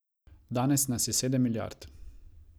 Danes nas je sedem milijard.